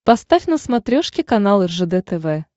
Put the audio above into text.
поставь на смотрешке канал ржд тв